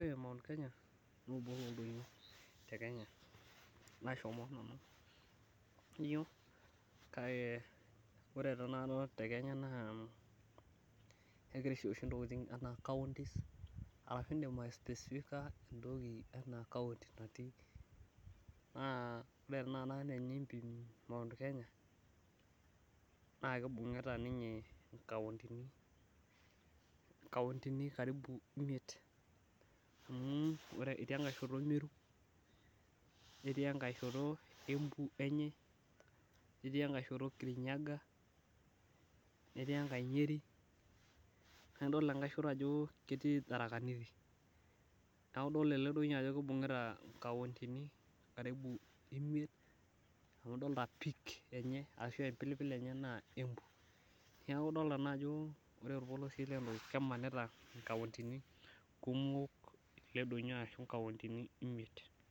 Ore Mt Kenya naa obo looldonyio te Kenya nashomo nanu Kake ore taa nanu te Kenya naa kegirai aishooyo oshi ntokiting enaa counties in'dim aisoecifica enaa encounty natii naa ore tenakata teniimpim Mt Kenya naa kibungita ninye inkauntini ajo imiet amu etii enkai shoto Meru netii engae shoto Embu enye netii engae shoto Kirinyaga netii engae nyeri naidol engae shoto ajo ketii Tharaka Nithi Niaku idol ele donyo ajo kibungita inkauntini karibu imiet niaku idoliti empeak enye ashu embilipil enye naa Embu Niaku idolita naa ajo ore olpolosie lelo naa kemanita inkauntini kumok ele donyo ashu inkauntini imiet